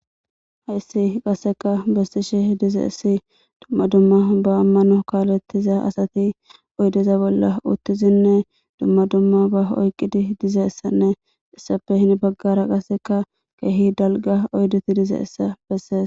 Hayssi qasseka bessishe dize essi dumma dumma ba ammano kaalettiza asati oydeza bolla uttizinne dumma dumma ba oyqqidi dizeessanne issape hin baggara qasseka keehi dalga oydeti dize essa bessees.